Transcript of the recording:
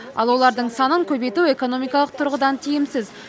ал олардың санын көбейту экономикалық тұрғыдан тиімсіз